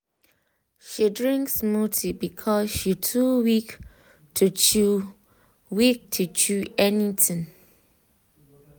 she drink smoothie because she too weak to chew weak to chew anything.